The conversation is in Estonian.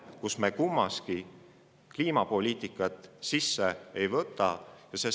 Kummagi alusstsenaariumi puhul ei ole arvesse võetud kliimapoliitika.